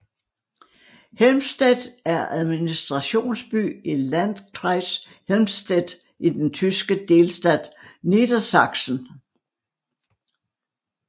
Helmstedt er administrationsby i Landkreis Helmstedt i den tyske delstat Niedersachsen